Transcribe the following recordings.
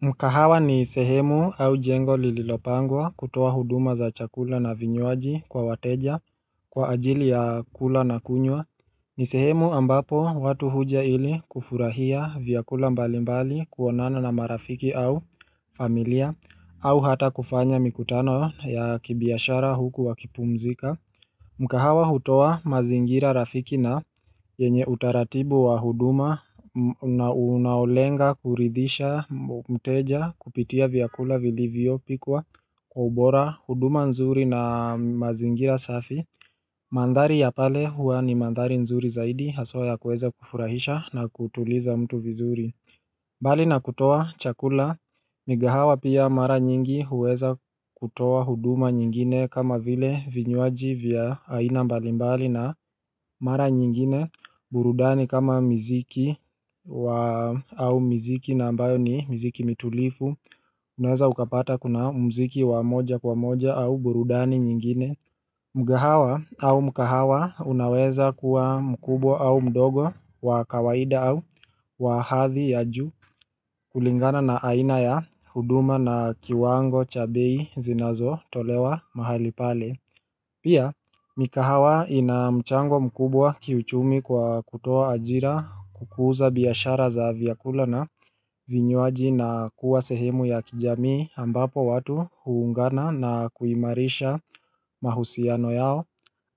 Mkahawa ni sehemu au jengo lililopangwa kutoa huduma za chakula na vinywaji kwa wateja kwa ajili ya kula na kunywa ni sehemu ambapo watu huja ili kufurahia vyakula mbali mbali kuonana na marafiki au familia au hata kufanya mikutano ya kibiashara huku wakipumzika mkahawa hutoa mazingira rafiki na yenye utaratibu wa huduma na unaolenga kuridhisha mteja kupitia vyakula vilivyopikwa kwa ubora huduma nzuri na mazingira safi Mandhari ya pale huwa ni mandhari nzuri zaidi haswa ya kuweza kufurahisha na kutuliza mtu vizuri bali na kutoa chakula, migahawa pia mara nyingi huweza kutoa huduma nyingine kama vile vinywaji vya aina mbalimbali na mara nyingine burudani kama miziki au miziki na ambayo ni miziki mitulivu, unaweza ukapata kuna mziki wa moja kwa moja au burudani nyingine Mgahawa au mkahawa unaweza kuwa mkubwa au mdogo wa kawaida au wa hadhi ya juu kulingana na aina ya huduma na kiwango cha bei zinazotolewa mahali pale. Pia, mikahawa ina mchango mkubwa kiuchumi kwa kutoa ajira kukuza biashara za vyakula na vinywaji na kuwa sehemu ya kijamii ambapo watu huungana na kuimarisha mahusiano yao.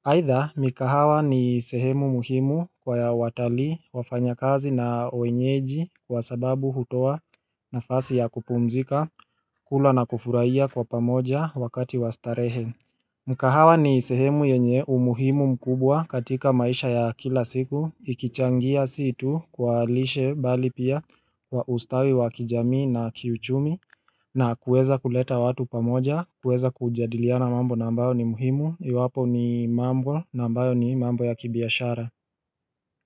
Aidha, mikahawa ni sehemu muhimu kwa ya watalii wafanya kazi na wenyeji kwa sababu hutoa nafasi ya kupumzika, kula na kufurahia kwa pamoja wakati wa starehe. Mkahawa ni sehemu yenye umuhimu mkubwa katika maisha ya kila siku, ikichangia si tu kwa lishe bali pia ustawi wa kijamii na kiuchumi, na kuweza kuleta watu pamoja, kuweza kujadiliana mambo na ambayo ni muhimu Iwapo ni mambo na ambayo ni mambo ya kibiashara.